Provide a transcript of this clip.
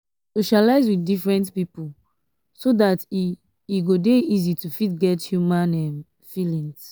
socialize with different pipo um so dat e e go dey easy to fit get human um feelings